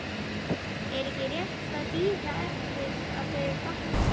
Er ekki rétt að bíða eftir að þau batni?